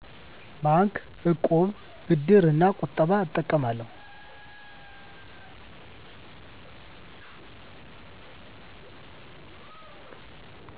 ባንክ፣ እቁብ፣ ብድር እና ቁጠባ እጠቀማለሁ።